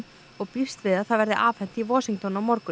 og býst við að það verði afhent í Washington á morgun